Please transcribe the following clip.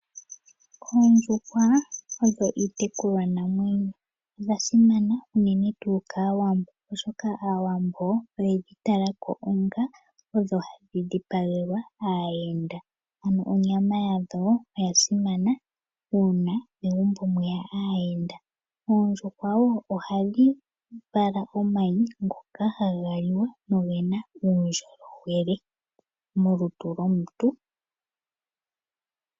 Oondjuhwa odho iitekulwanamwenyo. Odha simana unene tuu kaAwambo oshoka Aawambo oyedhi tala ko onga odho hadhi dhipagelwa aayenda. Ano onyama yadho oya simana uuna megumbo mweya aayenda. Oondjuhwa wo ohadhi vala omayi ngoka haga liwa nogena uundjolowele molutu lwomuntu.